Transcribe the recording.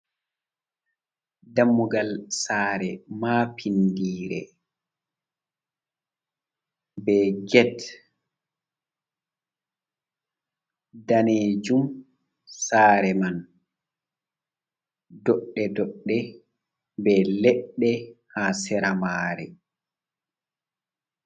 Dammugal saare mapinndire, be get danejum. Saare man doɗɗe doɗɗe, be leɗɗe haa sera maare.